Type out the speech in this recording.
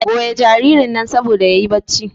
goya jaririn nan saboda yayi bacci